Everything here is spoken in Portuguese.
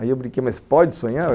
Aí eu brinquei, mas pode sonhar?